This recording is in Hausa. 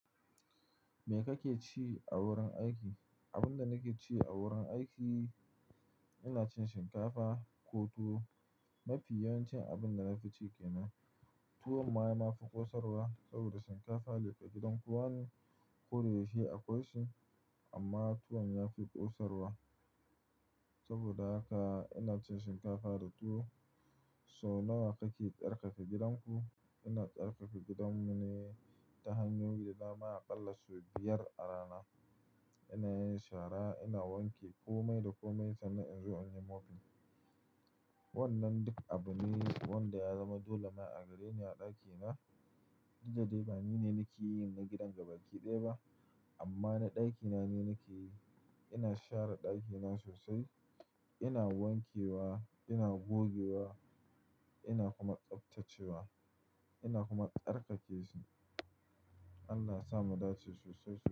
Me kake ci a wurin aiki? Abinda nakeci a wurin aiki, ina cin shinkafa ko tuwo. Mafi yawancin abinda nafi ci kenan tuwon ma nafi ƙosarwa saboda shinkafa leƙa gidan kowane kome shi akwai shi amma tuwon yafi ƙosarwa. Saboda haka inacin shinkafa da tuwo. So nawa kake ƙarfafa gidan ku? Ina ƙarfafa gidan mune ta hanyoyi dama aƙalla sau biyar a rana. Inayin shara, ina wanke komai da komai sannan inzo inyi mopping. Wannan duk abune wanda ya zama dole ma a gareni a ɗakina. Didda de ba nine nakeyin na gidan gabaki ɗaya ba amma na ɗakina ni nakeyi. Ina share ɗakina sosai, ina wankewa, ina gogewa, ina kuma tsaftacewa ina kuma tsarkakeshi. Allah yasa mu dace sosai sosai.